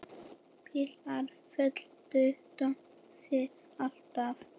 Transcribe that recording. Bílar fylgdu Tómasi alltaf.